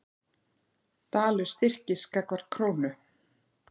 Dalur styrkist gagnvart krónu